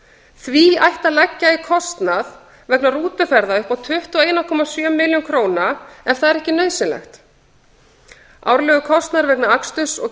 því ætti að leggja í kostnað vegna rútuferða upp á tuttugu og eina komma sjö milljónir króna ef það er ekki nauðsynlegt árlegur kostnaður vegna aksturs og